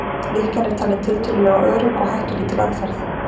Lykkjan er talin tiltölulega örugg og hættulítil aðferð.